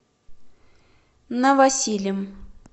новосилем